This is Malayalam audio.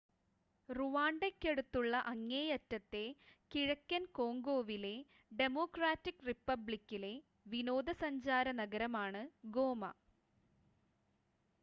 റുവാണ്ടയ്ക്കടുത്തുള്ള അങ്ങേയറ്റത്തെ കിഴക്കൻ കോംഗോയിലെ ഡെമോക്രാറ്റിക് റിപ്പബ്ലിക്കിലെ വിനോദസഞ്ചാര നഗരമാണ് ഗോമ